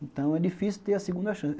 Então é difícil ter a segunda chance.